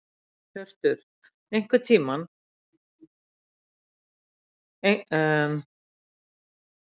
Hjörtur: Einhver tímarammi sem að þú gætir sagt að þetta verði já tilbúið?